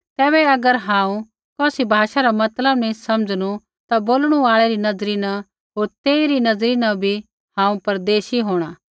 तैबै अगर हांऊँ कौसी भाषा रा मतलब नी समझनु ता बोलणु आल़ै री नज़री न होर तेइरी नज़री न भी हांऊँ परदेशी होंणा